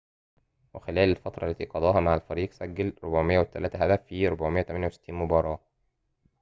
وخلال الفترة التي قضاها مع الفريق سجل 403 هدفاً في 468 مباراة